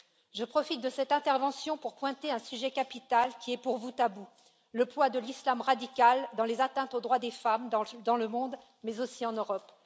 Je profite de cette intervention pour pointer un sujet capital, qui est pour vous tabou le poids de l'islam radical dans les atteintes aux droits des femmes dans le monde, mais aussi en Europe.